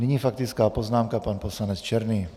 Nyní faktická poznámka - pan poslanec Černý.